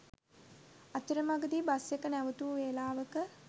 අතරමඟදි බස්එක නැවැත්වූ වෙලාවක